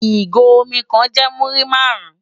Igó ómì kán jè múri màrún